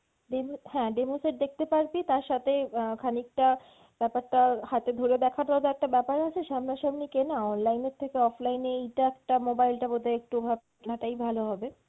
demo হ্যাঁ demo set দেখতে পারবি তার সাথে অ্যাঁ খানিকটা ব্যাপারটা হাতে ধরে দেখারও একটা ব্যাপার আছে সামনা সামনি কেনা online এর থেকে offline এ এইটা একটা mobile টা বোধ হয় নেওয়াটাই ভালো হবে।